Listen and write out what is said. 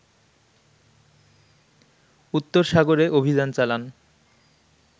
উত্তর সাগরে অভিযান চালান